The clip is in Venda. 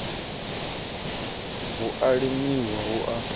hu a limiwa hu a